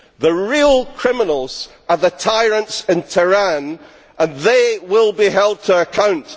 The real criminals are the tyrants in Tehran and they will be held to account.